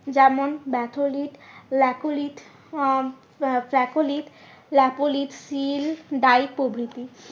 যেমন ব্যাথলিথ আহ প্রভৃতি।